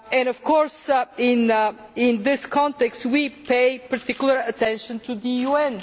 Of course in this context we pay particular attention to the UN.